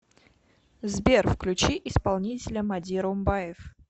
сбер включи исполнителя мади румбаев